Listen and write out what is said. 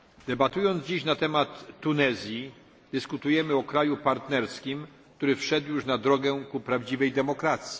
Debatując dziś na temat Tunezji, dyskutujemy o kraju partnerskim, który wszedł już na drogę ku prawdziwej demokracji.